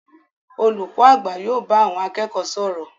Olùkọ àgbà yóò bá àwọn akẹ́kọ̀ọ́ sọ̀rọ̀.